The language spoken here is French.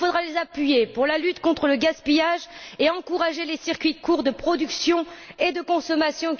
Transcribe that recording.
Il faudra les appuyer pour lutter contre le gaspillage et encourager la mise en place de circuits courts de production et de consommation.